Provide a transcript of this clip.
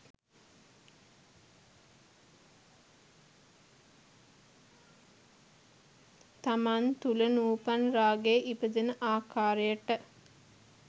තමන් තුළ නූපන් රාගය ඉපදෙන ආකාරයට